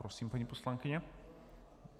Prosím, paní poslankyně.